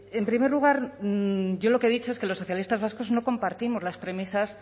en primer lugar yo lo que he dicho es que los socialistas vascos no compartimos las premisas